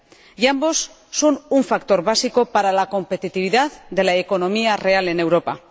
Y ambos son factores básicos para la competitividad de la economía real en Europa.